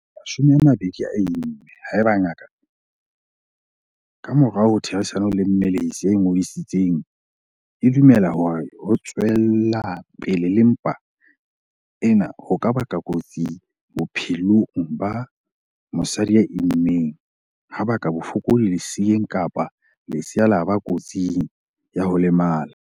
20 a imme haeba ngaka, ka morao ho therisano le mmelehisi ya ingodisitseng, e dumela hore ho tswela pele le mpa ena ho ka ba kotsi bophelong ba mosadi ya immeng, ha baka bofokodi leseeng kapa lesea la ba kotsing ya ho lemala.